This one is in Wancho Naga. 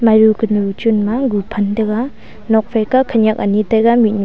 aju kunu chun ma guphan tega nokphe ka khaniak ani tega mihnuh.